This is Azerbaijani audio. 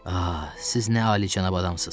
Ah, siz nə alicənab adamsız.